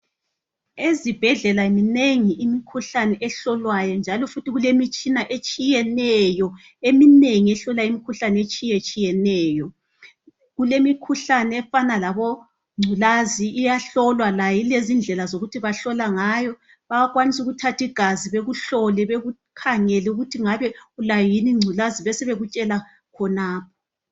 Ezibhendlela minengi imikhuhlane ehlolwayo njalo futhi kulemitshina etshiyeneyo eminengi ehlola imikhuhlane etshiyetshineyo kulemikhuhlane efana labo ngculazi iyahlolwa layo ilezindlela zokuthi bahlola ngayo bayakwanisa ukuthatha igazi bekuhlole bekukhangeli ukuthi ngabe ulayo yini ingculazi besebekutshela khonapho